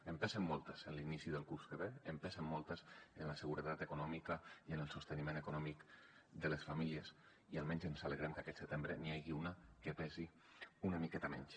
en pesen moltes a l’inici del curs que ve en pesen moltes en la seguretat econòmica i en el sosteniment econòmic de les famílies i almenys ens alegrem que aquest setembre n’hi hagi una que pesi una miqueta menys